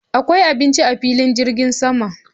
Akwai abinci a filin jirgin sama?